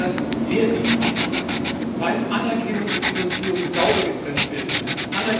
Das war uns sehr wichtig, weil Anerkennung und Finanzierung sauber getrennt werden müssen.